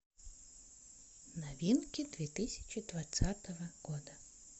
новинки две тысячи двадцатого года